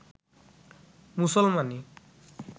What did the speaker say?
মুসলমানি